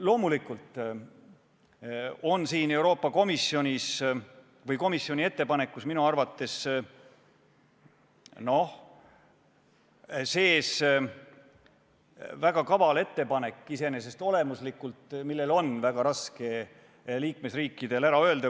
Loomulikult on Euroopa Komisjoni ettepanekus sees ka üks minu arvates olemuslikult väga kaval ettepanek, millest on liikmesriikidel väga raske ära öelda.